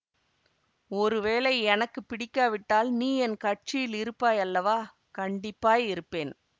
ஒரு வேளை எனக்கு பிடிக்காவிட்டால் நீ என் கட்சியில் இருப்பாய் அல்லவா கண்டிப்பாய் இருப்பேன்